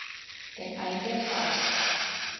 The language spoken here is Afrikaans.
ten einde vas